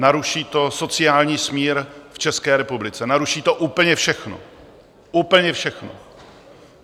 naruší to sociální smír v České republice, naruší to úplně všechno, úplně všechno.